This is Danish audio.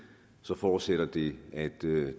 forudsætter det at